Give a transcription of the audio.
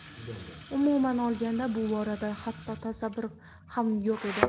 Umuman olganda bu borada hatto tasavvur ham yo‘q edi.